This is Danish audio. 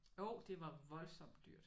Jo det var voldsomt dyrt